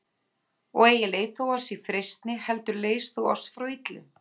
Og eigi leið þú oss í freistni, heldur leys þú oss frá illu.